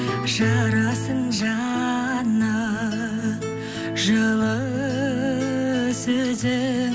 жарасын жаны жылы сөзі